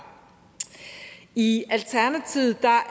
i alternativet